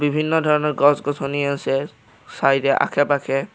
বিভিন্ন ধৰণৰ গছ-গছনি আছে চাইডে আশে-পাশে।